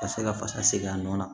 Ka se ka fasa segin a nɔ na